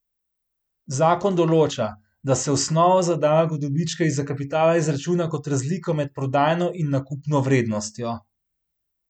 Zakon določa, da se osnovo za davek od dobička iz kapitala izračuna kot razliko med prodajno in nakupno vrednostjo.